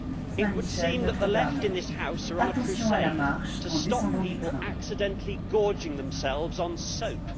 It would seem that the Left in this House are on a crusade to stop people accidentally gorging themselves on soap!